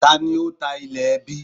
Ta ni ó ta ilẹ̀ ẹbí?